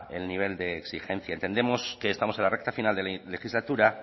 el nivel de exigencia entendemos que estamos en la recta final de la legislatura